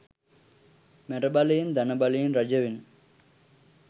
මැරබලයෙන් ධන බලයෙන් රජවෙන